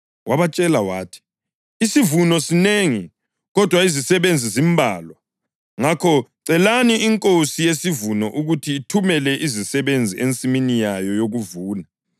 Wabatshela wathi, “Isivuno sinengi, kodwa izisebenzi zimbalwa. Ngakho celani iNkosi yesivuno ukuthi ithumele izisebenzi ensimini yayo yokuvuna.